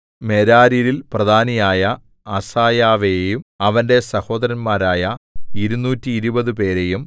മെരാര്യരിൽ പ്രധാനിയായ അസായാവെയും അവന്റെ സഹോദരന്മാരായ ഇരുനൂറ്റിരുപതുപേരെയും 220